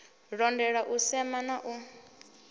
londola u sema na u